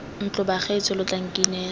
ntlo bagaetsho lo tla nkinela